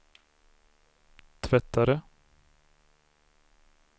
tvättare